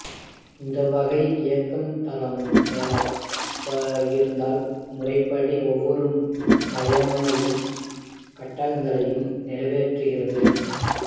இந்த வகை இயக்கு தளம் நேரப் பகிர்தல் முறைப்படி ஒவ்வொரு பயனரின் கட்டளைகளையும் நிறைவேற்றுகிறது